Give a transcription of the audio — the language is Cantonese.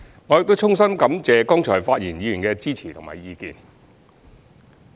我亦衷心感謝剛才發言議員的支持及意見。